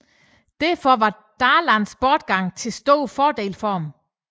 Derfor var Darlans bortgang til stor fordel for dem